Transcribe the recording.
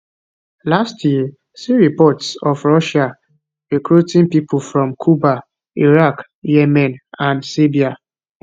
last year see reports of russia recruiting people from cuba iraq yemen and serbia